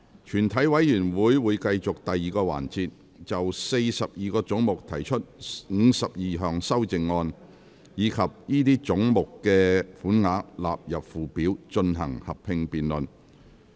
全體委員會會繼續第2個環節，就42個總目提出的52項修正案，以及這些總目的款額納入附表，進行合併辯論。